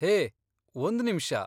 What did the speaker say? ಹೇ, ಒಂದ್ ನಿಮಿಷ.